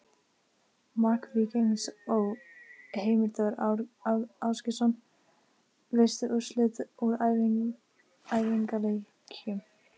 Mark Víkings Ó.: Heimir Þór Ásgeirsson Veistu úrslit úr æfingaleikjum?